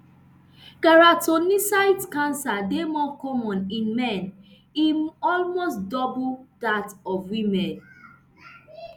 keratinocyte cancer dey more common in men e almost double dat of women